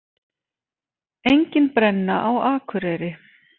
Engin brenna á Akureyri